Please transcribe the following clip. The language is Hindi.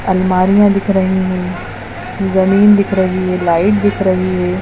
अलमारिया दिख रही है जमीन दिख रही है लाइट दिख रही है।